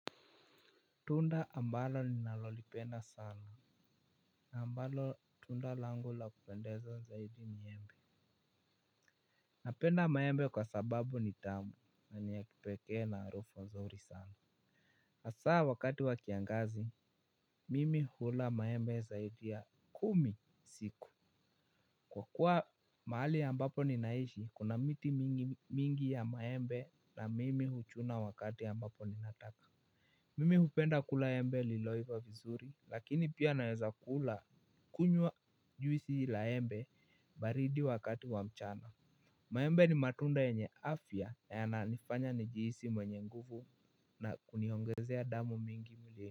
Tunda ambalo ninalolipenda sana na ambalo tunda langu la kupendeza zaidi ni embe. Napenda maembe kwa sababu ni tamu na ni ya kipekee na arufu nzuri sana. Asaa wakati wa kiangazi mimi hula maembe zaidi ya kumi siku. Kwa kuwa maali ambapo ninaishi kuna miti mingi mingi ya maembe na mimi huchuna wakati ambapo ninataka. Mimi hupenda kula embe liloiva vizuri lakini pia naweza kula kunywa juisi la embe baridi wakati wa mchana. Maembe ni matunda yenye afya yananifanya nijiisi mwenye nguvu na kuniongezea damu mingi mwilini.